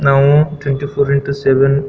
ನಾವು twenty four into seven .